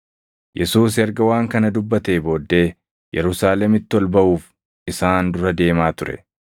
Yesuus erga waan kana dubbatee booddee Yerusaalemitti ol baʼuuf isaan dura deemaa ture.